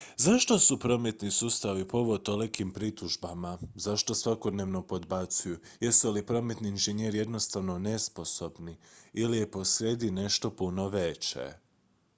zašto su prometni sustavi povod tolikim pritužbama zašto svakodnevno podbacuju jesu li prometni inženjeri jednostavno nesposobni ili je posrijedi nešto puno veće